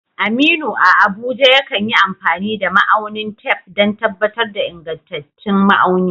Aminu, a Abuja, yakan yi amfani da ma'aunin tef don tabbatar da ingantattun ma'auni.